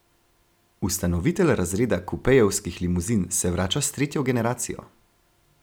Ustanovitelj razreda kupejevskih limuzin se vrača s tretjo generacijo.